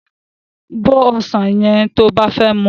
Bó ọsàn yẹn to bá fẹ́ muú